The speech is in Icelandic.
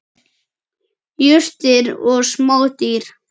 Jurtir og smádýr.